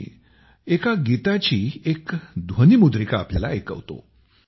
मी एका गीताची एक ध्वनिमुद्रिका आपल्याला ऐकवतो